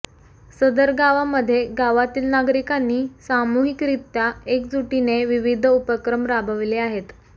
सदर गावामध्ये गावातील नागरिकांनी सामूहिकरित्या एकजुटीने विविध उपक्रम राबविले आहेत